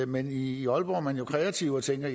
men i i aalborg er man jo kreative og tænker